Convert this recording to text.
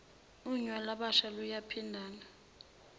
unya lwabasha luyaphindana